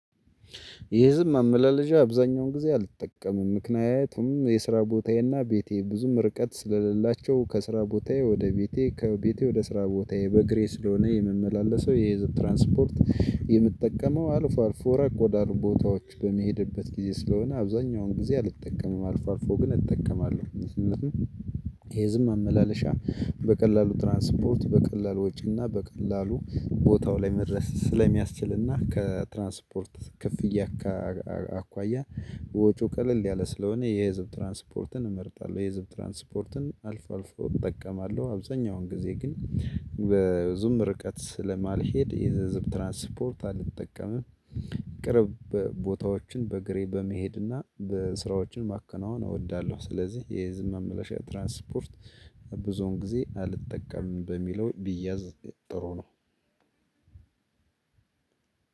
ይህዝብ ማመላለሻ አብዛኛውን ጊዜ አልጠቀምም ምክንያቱም የስራ ቦታዬና ቤቴ ብዙም ርቀት ስለሌላቸው ከስራ ቦታዬ ወደ ቤቴ ከቤቴ ወደ ስራ ቦታዬ በእግሬ ስለሆነ የምመላለሰው የዚህ ትራንስፖርት የምጠቀመው አልፎ አልፎ ረቅ ወዳሉ ቦታዎች በመሄድበት ጊዜ ስለሆነ አብዛኛውን ጊዜ አልጠቀምም አልፎ አልፎ ግን እጠቀማለሁ። የህዝብ መመላለሻ በቀላሉ ትራንስፖርት በቀላሉ ወጪና በቀላሉ ቦታው ላይ መድረስ ስለሚያስችልና ከትራንስፖርት ክፍያ አኳያ ወጪው ቀለል ያለ ስለሆነ የህዝብ ትራንስፖርትን እመርጣለሁ። የህዝብ ትራንስፖርትን አልፎ አልፎ እጠቀማለሁ። አብዛኛውን ጊዜ ግን በዙም ርቀት ስለማልሄድ የህዝብ ትራንስፖርት አልጠቀምም። ቅርብ ቦታዎችን በእግሬ በመሄድና በስራዎችን ማከናወን እወዳለሁ። ስለዚህ የዝም መመለሻ ትራንስፖርት ብዙውን ጊዜ አልጠቀምም። በሚለው ቢያዝ ጥሩ ነው።